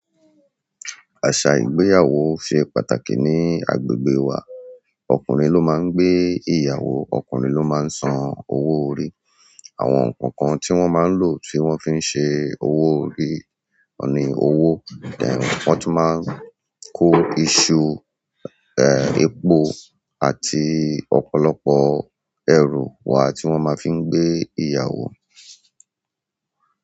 Aṣa ìgbéyàwó ṣe pàtàkì ní agbègbè wa. Ọkùnrin ló máa ń gbé ìyàwó, ọkùnrin ló máa ń san owó orí. Àwọn nǹkan kan tí wọ́n máa ń lò, tí wọ́n fi ń ṣe owó orí ni owó, dẹ́rùn. Wọ́n tún máa ń kó iṣu, e, ẹ̀po àti ọ̀pọ̀lọpọ̀ ẹrù wá tí wọ́n máa fi ń gbé ìyàwó.